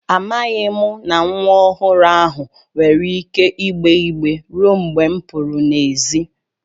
Amaghị m na nwa ọhụrụ ahụ nwere ike ịgbè igbé ruo mgbe m pụru n'èzí